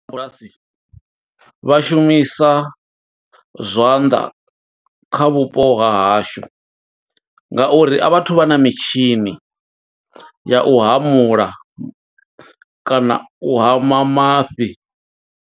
Vha shumisa zwanḓa kha vhupo ha hashu ngauri a vha thu vha na mitshini ya u hamula kana u hama mafhi.